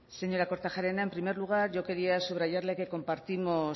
señora kortajarena en primer lugar yo quería subrayarle que compartimos